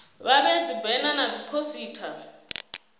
vha vhee dzibena na dziphosita